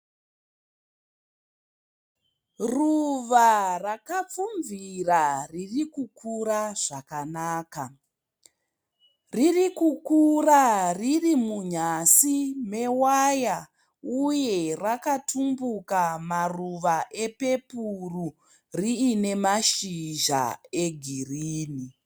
Ruva rakapfumvira ririkukura zvakanaka, riri kukura riri munyasi mewaya uye rakatumbuka maruva epepuru riine mashizha egirini.